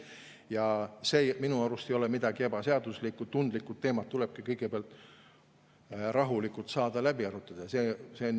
Selles ei ole minu arust midagi ebaseaduslikku, tundlikud teemad tulebki kõigepealt rahulikult saada läbi arutada.